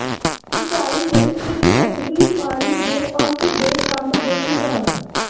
ਸਿੰਚਾਈ ਲਈ ਇੱਕ ਸਤਹੀ ਪਾਣੀ ਦੇ ਪੰਪ ਦੇ ਕੰਮ ਦੇ ਸਿਧਾਂਤ